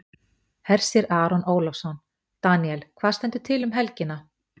Hersir Aron Ólafsson: Daníel, hvað stendur til um helgina?